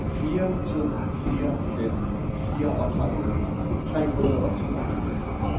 fire to fire fem fireogtredive tre hundrede og toogfirs